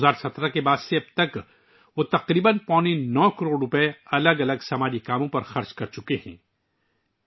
2017 کے بعد سے، اس نے بے شمار سماجی کاموں پر تقریباً پونے نو کروڑ روپے خرچ کیے ہیں